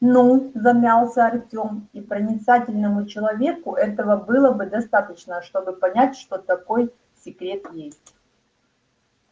н-ну замялся артем и проницательному человеку этого было бы достаточно чтобы понять что такой секрет есть